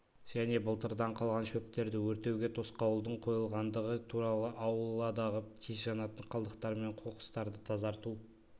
және былтырдан қалған шөптерді өртеуге тосқауылдың қойылғандығы туралы ауладығы тез жанатын қалдықтар мен қоқыстарды тазарту